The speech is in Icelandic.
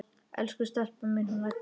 Elsku stelpan mín, hún Edda!